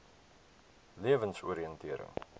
lewensoriëntering